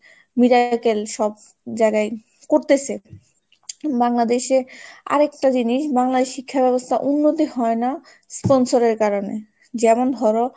miracle সব জায়গায় করতেসে, বাংলাদেশে আরেকটা জিনিস বাংলায় শিক্ষা ব্যবস্থার উন্নতি হয় না, sponsor এর কারণে যেমন ধরো